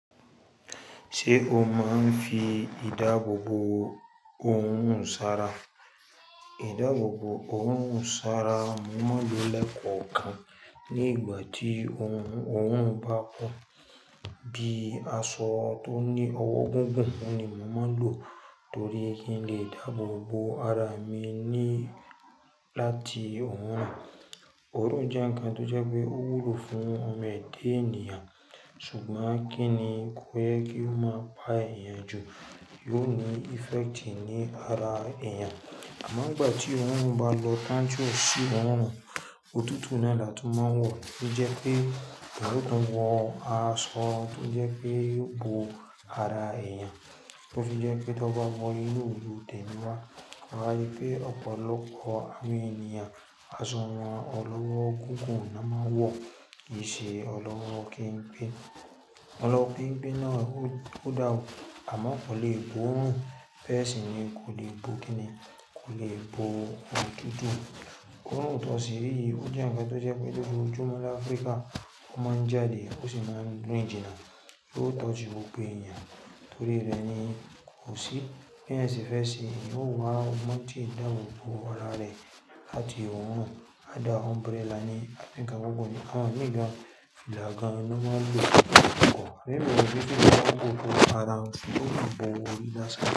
Ṣé o máa ń fi ìdáàbò bo ohun sará? Ìdáàbò bo ohun ṣọ́rá mo mo ń lo lẹ́kọ̀ọ̀kan. Ní ìgbà tí ohun ohun ba po, bí aṣọ tó ní ọwọ́ gungùn, òun ní mo máa ń lò torí kí n lè dáàbò bo ara mi ní láti òun. Òrun jẹ́ ǹkan tó jẹ́ pé ó wúlò fún ọmọ ẹ̀dá ènìyàn, ṣùgbọ́n kí ni kò yẹ kí ó máa pa èèyàn jù, yóò ní effect ní ara èèyàn. Àmọ́ ìgbà tí orun hun bá lọ tán ti o sì oorun, òtútù náà la tun mo ń wọ̀ tó jẹ́ pé eeyan o tun wo aaṣọ tó jẹ́ pé yo bó ara èèyàn tó fi jẹ́ pé tó bá wọ inú oru temíwá. Ari pé ọ̀pọ̀lọpọ̀ àwọn ènìyàn, aṣọ wọn ọlọ́wọ́ gungun na mo n wo. Kì í ṣe ọlọ́wọ́ kenpe. Ọlọ́wọ́ kenpe náà ó da o, àmọ́ kò lè bo orun bẹ́ẹ̀ sì ni kò lè bo kí ni, kò lè bo òtútù. Orun to si ri yi o ó jẹ́ ǹkan tó jẹ́ pé gbogbo ojúmọ́ ní Áfríkà ó mo ń jáde ó sì mo ń rìn jinna, yo o toji gbogbo èèyàn, torí rẹ̀ ni kò sí bi eyan se fe se, yo wà ogbon ti e dáàbò bo ara rẹ̀ láti orun áida umbrella àbí ǹkan gungun ni àwọn míì gan fìlà náà máa ń lò kọ̀. Òní lórí ojú tó dáàbò bo ara ń ṣe ó ń bo orí ní lásán.